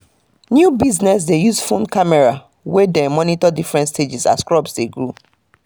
new business dey use phones camera wey dey monitor different stages as crops dey grow